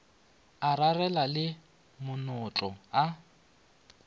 a rarela le manotlo a